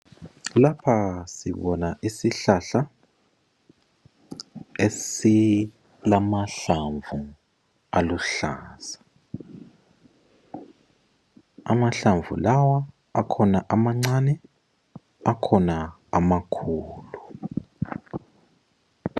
Lapha sibona isihlahla esilamahlamvu aluhlaza. Amahlamvu lawa akhona amancane akhona amakhulu.